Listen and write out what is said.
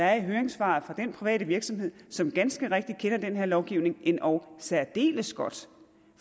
er i høringssvaret fra den private virksomhed som ganske rigtigt kender den her lovgivning endog særdeles godt